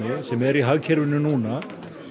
sem er í hagkerfinu núna